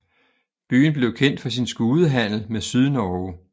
Byen blev kendt for sin skudehandel med Sydnorge